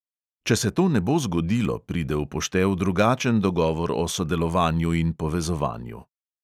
Če se to ne bo zgodilo, pride v poštev drugačen dogovor o sodelovanju in povezovanju.